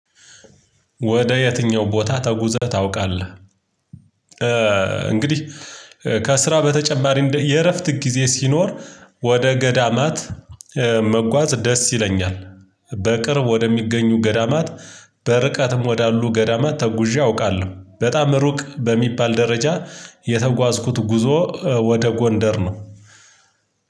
ወደ የትኛው ቦታ ተጉዘህ ታውቃለህ? እንግዲህ ከስራ በተጨማሪ እንደ የእረፍት ጊዜ ሲኖር ወደ ገዳማት መጓዝ ደስ ይለኛል። በቅርብ ወደሚገኙ ገዳማት በርቀትም ወዳሉ ገዳማት ተጉዤ አውቃለሁ። በጣም ሩቅ በሚባል ደረጃ የተጓዝኩት ጉዞ ወደ ጎንደር ነው።